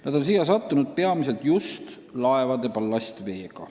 Nad on siia sattunud peamiselt laevade ballastveega.